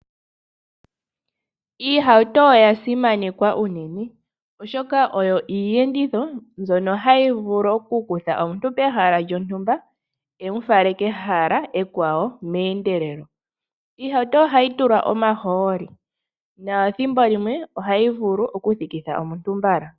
Iihauto oya simanekwa unene. Oshoka oyo iiyenditho mbyono hayi vulu okukutha omuntu pehala lyontumba yi mu fale kehala ekwawo meendelelo. Iihauto ohayi tulwa omahooli. Nethimbo limwe ohayi vulu okuthikitha omuntu mbala.